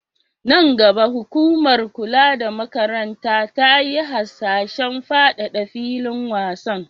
Nan gaba, hukumar kula da makaranta ta yi hasashen fadada filin wasan.